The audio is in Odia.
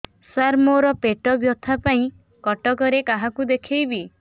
ସାର ମୋ ର ପେଟ ବ୍ୟଥା ପାଇଁ କଟକରେ କାହାକୁ ଦେଖେଇବି